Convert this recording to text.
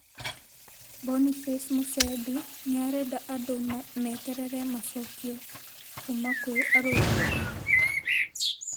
Boniface Musembi nĩarenda andũ meterere macokio kuma kwĩ arũgamĩrĩri